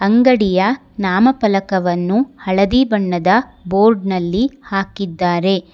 ಅಂಗಡಿಯ ನಾಮಫಲಕವನ್ನು ಹಳದಿ ಬಣ್ಣದ ಬೋರ್ಡ್ ನಲ್ಲಿ ಹಾಕಿದ್ದಾರೆ.